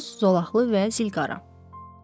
Boz, zolaqlı və zilqara.